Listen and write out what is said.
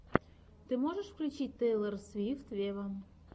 ты можешь включить тейлор свифт вево